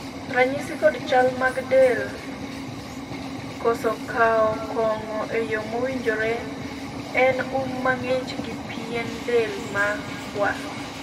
ranyisi kod chal mag del koso kawo kong'o e yo mowinjore en um mang'ich gi pien del ma kwar